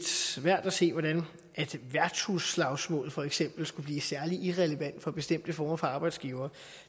svært at se hvordan værtshusslagsmål for eksempel skulle blive særlig irrelevant for bestemte former for arbejdsgivere